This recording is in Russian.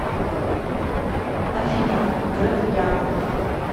афина греф яна